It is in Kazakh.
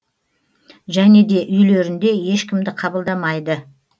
және де үйлерінде ешкімді қабылдамайды